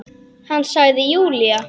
Hann sagði Júlía!